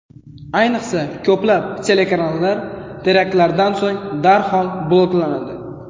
Ayniqsa, ko‘plab kanallar teraktlardan so‘ng darhol bloklanadi.